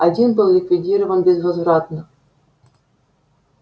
один был ликвидирован безвозвратно